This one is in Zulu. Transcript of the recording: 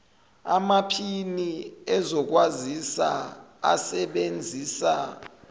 amaphini ezokwazisa asebenzisa